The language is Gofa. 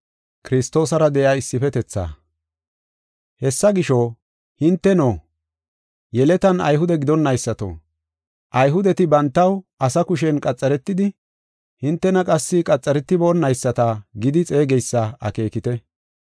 Hessa gisho, hinteno yeletan Ayhude gidonaysato, Ayhudeti bantaw asa kushen qaxaretidi, hintena qassi qaxaretiboonayisata gidi xeegeysa akeekite.